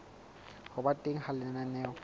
ho ba teng ha lenaneo